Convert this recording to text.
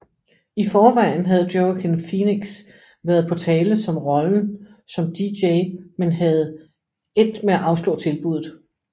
I forvejen havde Joaquin Phoenix været på tale som rollen som DJ men havde endt med at afslå tilbuddet